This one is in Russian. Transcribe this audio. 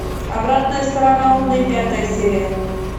обратная сторона луны пятая серия